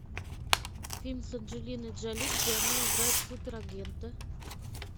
фильм с анджелиной джоли где она играет супер агента